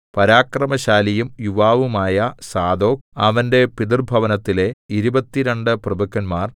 പരാക്രമശാലിയും യുവാവുമായ സാദോക് അവന്റെ പിതൃഭവനത്തിലെ ഇരുപത്തിരണ്ടു പ്രഭുക്കന്മാർ